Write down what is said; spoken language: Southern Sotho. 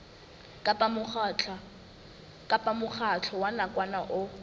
kapa mokgatlo wa nakwana o